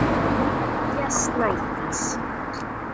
Kveðja, Snædís.